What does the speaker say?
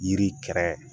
Yiri kɛrɛ